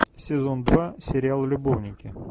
сезон два сериал любовники